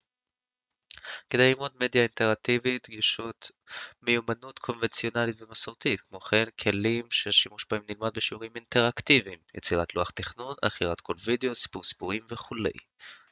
כדי ללמוד ליצור מדיה אינטראקטיבית דרושות ומיומנויות קונבנציונליות ומסורתיות כמו גם כלים שהשימוש בהם נלמד בשיעורים אינטראקטיביים יצירת לוח תכנון עריכת קול ווידאו סיפור סיפורים וכו'.